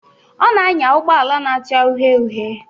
Ọ na-anya ụgbọ ala na-acha uhie uhie.